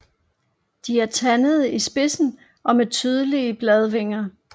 De er tandede i spidsen og med tydelige bladvinger